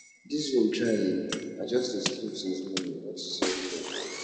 dis rain try eh i just dey sleep since morning unto say everywhere cold